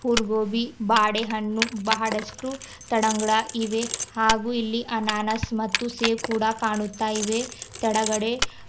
ಹುರ್ಗೋಬಿ ಬಾಡೆ ಹಣ್ಣು ಬಹಡಷ್ಟು ತಡಂಗಡ ಇವೆ ಹಾಗೂ ಇಲ್ಲಿ ಅನಾನಸ್ ಮತ್ತು ಸೇವ್ ಕೂಡ ಕಾಣುತ್ತ ಇವೆ ತಡಗಡೆ--